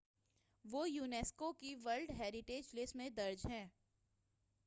وہ یونیسکو کی world heritage list میں درج ہیں